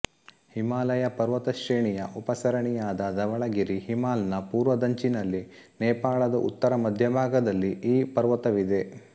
ಹಿಮಾಲಯ ಪರ್ವತಶ್ರೇಣಿಯ ಉಪಸರಣಿಯಾದ ಧವಳಗಿರಿ ಹಿಮಾಲ್ ನ ಪೂರ್ವದಂಚಿನಲ್ಲಿ ನೇಪಾಳದ ಉತ್ತರಮಧ್ಯಭಾಗದಲ್ಲಿ ಈ ಪರ್ವತವಿದೆ